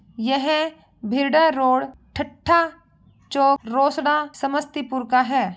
यह भीड़ा रोड ठठा चो रोस्डा समस्तीपुर का है।